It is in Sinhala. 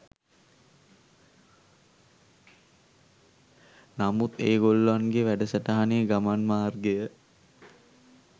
නමුත් ඒ ගොල්ලන්ගේ වැඩසටහනේ ගමන් මාර්ගය